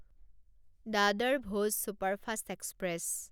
Dadar Bhoj superfast express